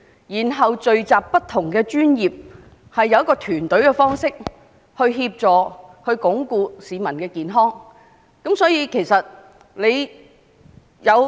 因此，政府可以聚集各不同專業的人員，以團隊協作方式來鞏固市民的健康。